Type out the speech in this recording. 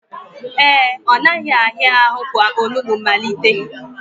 Ee, ọ naghị ahịa arụ ka onugbu malite